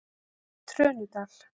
Trönudal